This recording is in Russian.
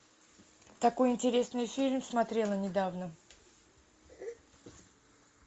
такой интересный фильм смотрела недавно